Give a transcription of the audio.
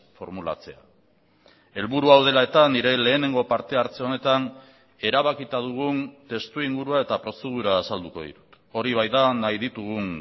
formulatzea helburu hau dela eta nire lehenengo partehartze honetan erabakita dugun testuingurua eta prozedura azalduko ditut hori baita nahi ditugun